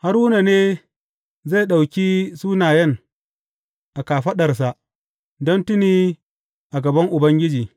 Haruna ne zai ɗauki sunayen a kafaɗarsa don tuni a gaban Ubangiji.